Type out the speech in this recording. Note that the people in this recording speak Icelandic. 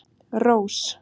Rós